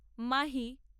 Mahi.